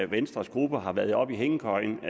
venstres gruppe har været oppe i hængekøjen